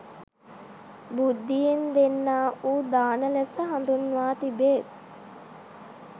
බුද්ධියෙන් දෙන්නා වූ දාන ලෙස හඳුන්වා තිබේ.